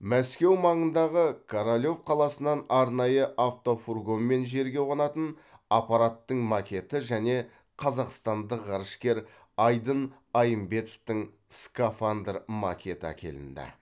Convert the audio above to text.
мәскеу маңындағы королев қаласынан арнайы автофургонмен жерге қонатын аппараттың макеті және қазақстандық ғарышкер айдын айымбетовтің скафандр макеті әкелінді